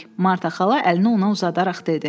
Marta xala əlini ona uzadaraq dedi.